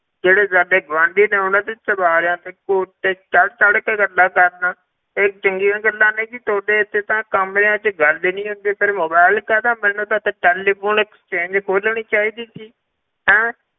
ਜਿਹੜੇ ਸਾਡੇ ਗੁਆਂਢੀ ਨੇ ਉਹਨਾਂ ਦੇ ਚੁਬਾਰਿਆਂ ਤੇ ਕੋਠੇ ਚੜ੍ਹ ਚੜ੍ਹ ਕੇ ਗੱਲਾਂ ਕਰਦਾਂ, ਇਹ ਚੰਗੀਆਂ ਗੱਲਾਂ ਨੇ ਜੀ ਤੁਹਾਡੇ ਇੱਥੇ ਤਾਂ ਕਮਰਿਆਂ ਵਿੱਚ ਗੱਲ ਹੀ ਨੀ ਹੁੰਦੀ, ਫਿਰ mobile ਕਾਹਦਾ ਮੈਨੂੰ ਤਾਂ ਇੱਥੇ telephone exchange ਖੋਲਣੀ ਚਾਹੀਦੀ ਸੀ, ਹੈਂ